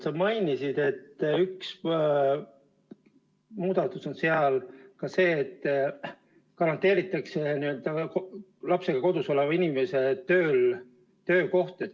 Sa mainisid, et üks muudatus on seal ka see, et garanteeritakse lapsega kodus oleva inimese töökoht.